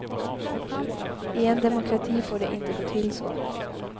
I en demokrati får det inte gå till så.